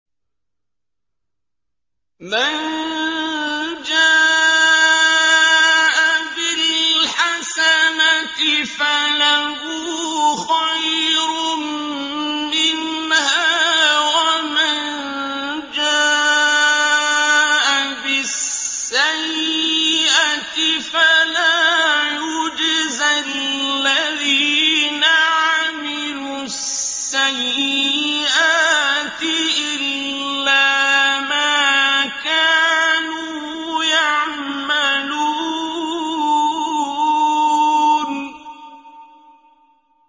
مَن جَاءَ بِالْحَسَنَةِ فَلَهُ خَيْرٌ مِّنْهَا ۖ وَمَن جَاءَ بِالسَّيِّئَةِ فَلَا يُجْزَى الَّذِينَ عَمِلُوا السَّيِّئَاتِ إِلَّا مَا كَانُوا يَعْمَلُونَ